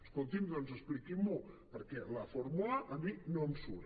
escolti’m doncs expliquin m’ho perquè la fórmula a mi no em surt